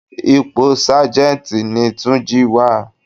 Ipò Sájẹ́ntì ní túnjí wà á.